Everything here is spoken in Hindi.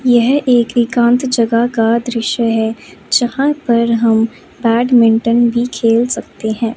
यह एक एकांत जगह का दृश्य है जहां पर हम बैडमिंटन भी खेल सकते हैं।